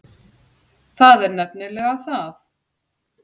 Það er nefnilega það!